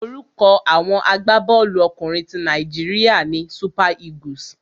Orúkọ àwọn agbábọ́ọ̀lú ọkùnrin ti Nàíjíríà ni Super Eagles.